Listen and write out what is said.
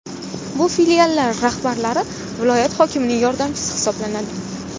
Bu filiallar rahbarlari viloyat hokimining yordamchisi hisoblanadi.